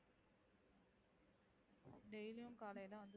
Daily யும் காலைல வந்து,